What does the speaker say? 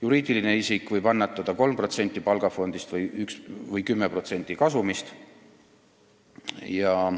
Juriidiline isik võib annetada 3% palgafondist või 10% kasumist.